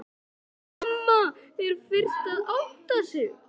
Mamma er fyrst að átta sig